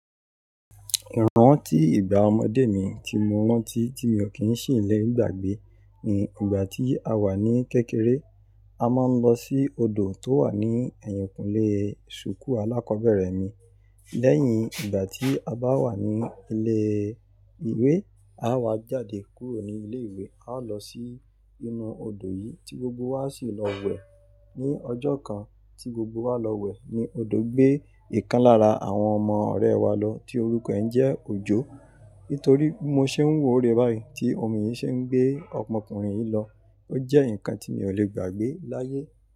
Ìrántí ìgbà ọmọdé mi tí mo rántí tí mi ò kí n sì lè gbàgbé ni ìgbà tí a wà ní kékeré. A mọń lọ sí odò tó wà ní ẹ̀yìnkùnlé suuku alákọ̀bẹ̀rẹ̀ mi. Lẹ́yìn ìgbà tí a bá wà ní ilé ìwé, á wá jáde kúrò ní ilé ìwé, a ó lọ sí inú odò yìí tí gbogbo wa sì lọ wẹ̀. Ni ọjọ́ kan tí gbogbo wa lọ wẹ̀ ni odò gbé ìkan lára àwọn ọmọ ọ̀rẹ́ wa lọ tí orúkọ ẹ̀ n jẹ́ Òjó. Nítorí bi mo ṣe ń wo rè báyìí tí omi yìí ṣe ń gbé ọmọkùnrin yìí lọ. Ó jẹ́ nǹkan tí mi ò lè gbàgbé láyé.